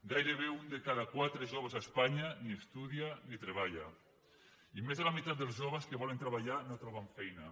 gairebé un de cada quatre joves a espanya ni estudia ni treballa i més de la meitat dels joves que volen treballar no troben feina